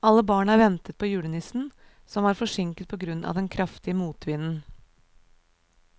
Alle barna ventet på julenissen, som var forsinket på grunn av den kraftige motvinden.